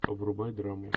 врубай драму